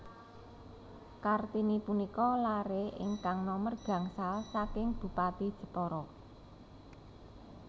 Kartini punika laré ingkang nomer gangsal saking Bupati Jepara